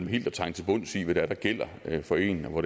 helt at trænge til bunds i hvad der gælder for en og